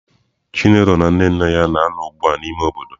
Chinelo na nne nne ya na-anọ ugbu a n'ime obodo.